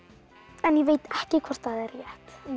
en ég veit ekki hvort það er rétt